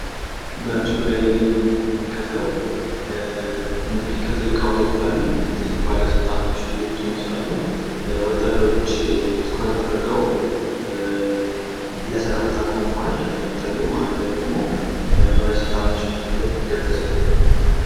በምስሉ ላይ የምንመለከተው እንግዲህ ከትልቅ አዉሮፕላን ትልቅ ባለስልጣናት እየወጡ ይመስላሉ ፤ ወታደሮች ቁመው በትኩረት ለሰላምታ ተዘጋጅተዋል ፤ መሃሉ ላይ ደሞ ባለስልጣኖች የሚሄዱበት መንገድ ተዘጋጅተዋል ማለት ነው።